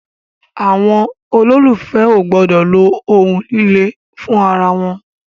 Àwọn olólùfè o gbọdọ lo ohun líle fún ara wọn.